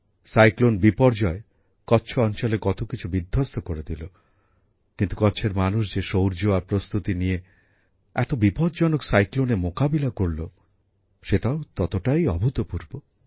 ঘূর্ণিঝড় বিপর্যয় কচ্ছ অঞ্চলে কত কিছু বিধ্বস্ত করে দিল কিন্তু কচ্ছের মানুষ যে শৌর্য আর প্রস্তুতি নিয়ে এত বিপজ্জনক ঘূর্ণিঝড়ের মোকাবিলা করল সেটাও ততটাই অভূতপূর্ব